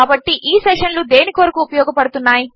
కాబట్టి ఈ సెషన్లు దేని కొరకు ఉపయోగపడుతున్నాయి